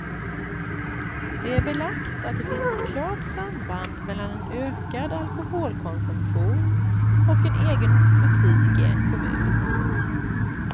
Det är belagt att det finns ett klart samband mellan en ökad alkoholkonsumtion och en egen butik i en kommun.